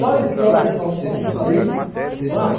Sabe que hora que nós fomos sair do mar?